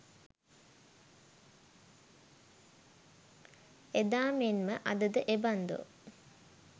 එදා මෙන් ම අද ද එබන්දෝ